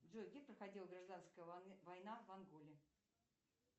джой где проходила гражданская война в анголе